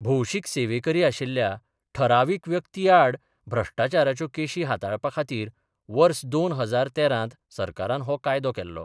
भौशिक सेवेकरी आशिल्ल्या ठराविक व्यक्ती आड भ्रष्टाचाराच्यो केशी हाताळपाखातीर वर्स दोन हजार तेरांत सरकारान हो कायदो केल्लो.